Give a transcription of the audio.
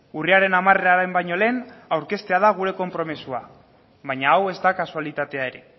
urriaren hamararen baino lehen aurkeztea da gure konpromisoa baina hau ez da kasualitatea ere